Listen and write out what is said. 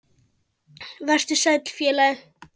Vertu sæll, félagi.